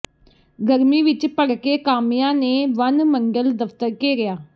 ਗਰਮੀ ਵਿੱਚ ਭੜਕੇ ਕਾਮਿਆਂ ਨੇ ਵਣ ਮੰਡਲ ਦਫ਼ਤਰ ਘੇਰਿਆ